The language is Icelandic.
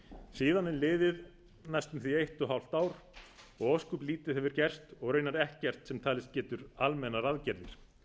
síðan er liðið næstum því eitt og hálft ár og ósköp lítið hefur gerst og raunar ekkert sem talist getur almennar aðgerðir